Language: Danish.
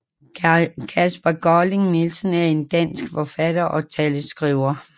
Kasper Colling Nielsen er en dansk forfatter og taleskriver